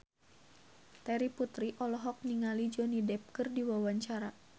Terry Putri olohok ningali Johnny Depp keur diwawancara